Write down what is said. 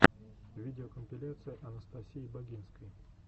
видеокомпиляция анастасии багинской